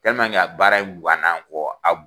a baara in guwana an kɔ a